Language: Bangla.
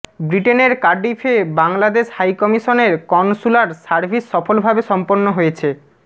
বৃটেনের কার্ডিফে বাংলাদেশ হাইকমিশনের কনসূলার সার্ভিস সফলভাবে সম্পন্ন হয়েছে